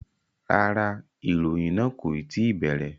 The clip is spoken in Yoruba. Rárá, ìròyìn náà kò tí ì bẹ̀rẹ̀